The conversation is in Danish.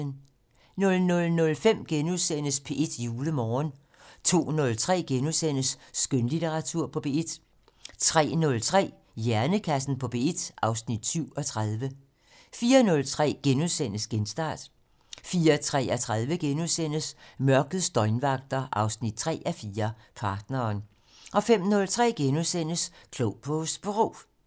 00:05: P1 Julemorgen * 02:03: Skønlitteratur på P1 * 03:03: Hjernekassen på P1 (Afs. 37) 04:03: Genstart * 04:33: Mørkets døgnvagter 3:4 - Partneren * 05:03: Klog på Sprog *